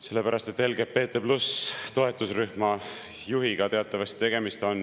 Sellepärast, et tegemist on teatavasti LGBT+- toetusrühma juhiga.